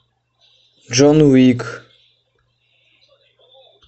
джон уик